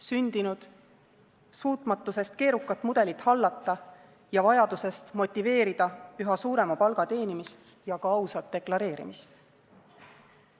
Sündinud suutmatusest keerukat mudelit hallata ja vajadusest motiveerida üha suurema palga teenimist ja ka ausat deklareerimist.